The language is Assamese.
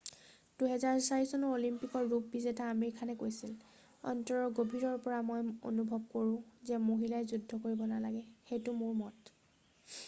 2004 চনৰ অলিম্পিকৰ ৰূপ বিজেতা আমিৰ খানে কৈছিল অন্তৰৰ গভীৰৰ পৰা মই অনুভৱ কৰোঁ যে মহিলাই যুদ্ধ কৰিব নালাগে সেইটো মোৰ মত